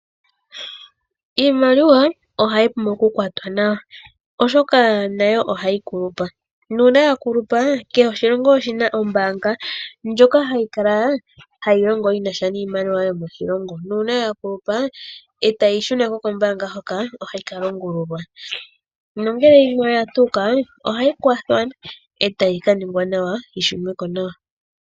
Iimaliwa ohayi pumbwa okukwatwa nawa oshoka nayo ohayi kulupa nuuna ya kulupa kehe oshilongo oshina ombaanga ndjoka hayi longo shinasha niimaliwa yomoshilongo nuuna ya kulupa etayi shunako kombaanga hoka ohayi ka longululwa nongele yimwe oya tuuka ohayi kwathwa etayi kaningwa nawa.